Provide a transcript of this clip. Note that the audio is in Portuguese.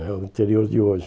né o interior de hoje.